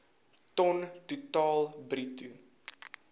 ton totaal bruto